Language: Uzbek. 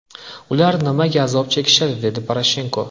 Ular nimaga azob chekishdi?”, − dedi Poroshenko.